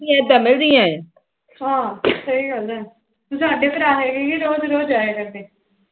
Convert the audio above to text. ਆਹ ਸਹੀ ਗੱਲ ਐ ਸਾਡੇ ਰੋਜਡ